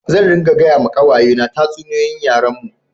Zan ringa gaya ma kawaye ne tatsuniyoyin yaren mu